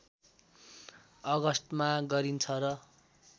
अगस्तमा गरिन्छ र